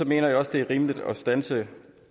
jeg også det er rimeligt at standse